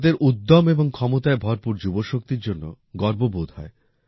ভারতের উদ্যম্ এবং ক্ষমতায় ভরপুর যুবশক্তির জন্য গর্ববোধ হয়